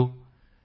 ਸਾਥੀਓ